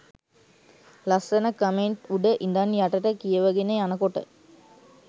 ලස්සන කමෙන්ට් උඩ ඉදන් යටට කියවගෙන යනකොට